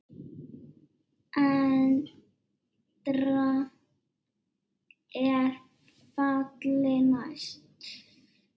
EN DRAMB ER FALLI NÆST!